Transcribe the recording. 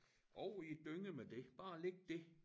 Over i æ dynge med det bare læg det